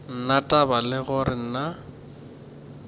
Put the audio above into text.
na taba le gore na